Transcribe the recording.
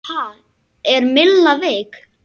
Ha, er Milla veik?